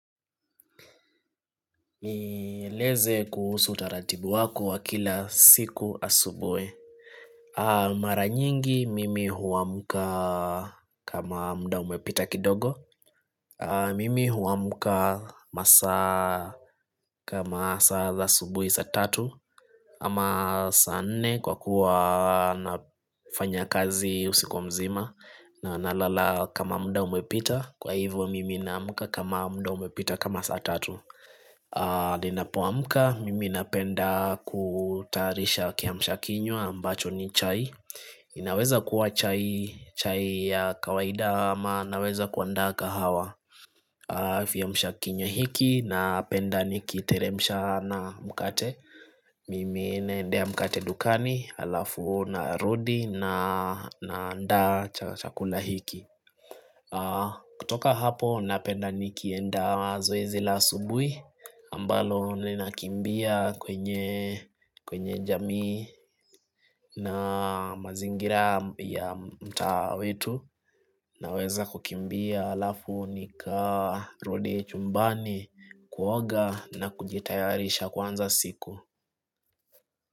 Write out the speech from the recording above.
Nieleze kuhusu utaratibu wako wa kila siku asubwe Mara nyingi mimi huwamuka kama muda umepita kidogo Mimi huwamka masa kama saa za subwe sa tatu Ama saa ne kwa kuwa nafanya kazi usikuwa mzima na nalala kama muda umepita Kwa hivyo mimi namka kama muda umepita kama saa tatu Ninapuamka mimi napenda kutarisha kiamshakinyo ambacho ni chai inaweza kuwa chai ya kawaida ama naweza kuandaa kahawa Fiamsha kinywa hiki napenda nikiteremusha na mkate Mimi nendea mkate dukani alafu na rudi na nda chakula hiki kutoka hapo napenda nikiendawa zoe zila subui ambalo nilinakimbia kwenye jamii na mazingira ya mtaa wetu naweza kukimbia alafu nika rudi chumbani kuwoga na kujitayarisha kwanza siku.